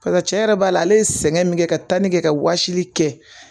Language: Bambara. Parisa cɛ yɛrɛ b'a la ale ye sɛgɛn min kɛ ka tali kɛ ka wɔsili kɛ